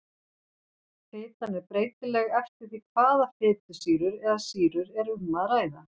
Fitan er breytileg eftir því hvaða fitusýru eða sýrur er um að ræða.